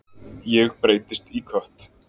Ég breytist í kött.